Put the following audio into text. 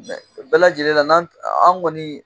Bɛɛ lajɛlen na n'an an kɔni